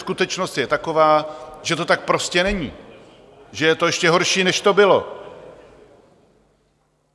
Skutečnost je taková, že to tak prostě není, že je to ještě horší, než to bylo.